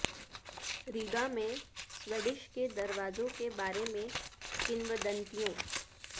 Riga میں Swedish کے دروازوں کے بارے میں کنودنتیوں